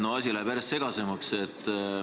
Noh, asi läheb järjest segasemaks.